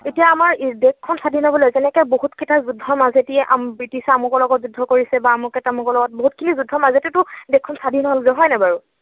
এতিয়া আমাৰ দেশখন স্বাধীন হবলৈ যেনেকৈ বহুত কেইটা যুদ্ধৰ মাজেদি ব্ৰিটিছে আমুকৰ লগত যুদ্ধ কৰিছে বা আমুকে তামুকৰ লগত, বহুতখিনি যুদ্ধৰ মাজেদিয়ে তো দেশখন স্বাধীন হলগৈ হয় নাই বাৰু?